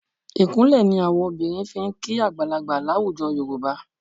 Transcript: Ìkúnlẹ̀ ni àwọn obìnrin fi ń kí àgbàlagbà láwùjọ Yorùbá.